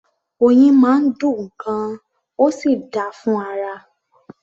Oyin máa ń dùn gan-an, ó sì dáa fún ara